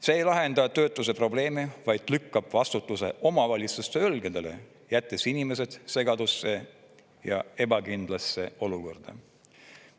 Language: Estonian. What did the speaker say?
See ei lahenda töötuse probleemi, vaid lükkab vastutuse omavalitsuse õlgedele, jättes inimesed segadusse ja ebakindlasse olukorda.